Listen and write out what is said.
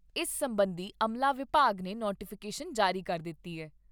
ਇਸ ਸਬੰਧੀ ਅਮਲਾ ਵਿਭਾਗ ਨੇ ਨੋਟੀਫੀਕੇਸ਼ਨ ਜਾਰੀ ਕਰ ਦਿੱਤੀ ਏ।